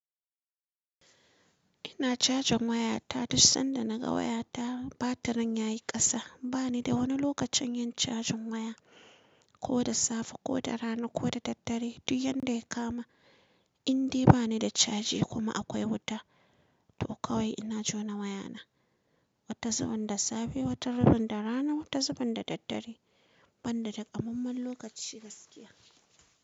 Ina cajan wayata duk sanda naga wayata batirin yayi kasa. Bani da wani lokacin yin cajin waya, ko da safe ko da rana ko da daddare. Dukn yanda ya kama, indai bani da caji kuma akwai wuta, to kawai ina jona wayana. Wata zubin da safe, wata zubin da rana, wata zubin da daddare. Banda takamammen lokaci gaskiya.